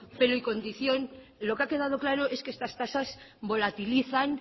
pelo y condición lo que ha quedado claro es que estas tasas volatilizan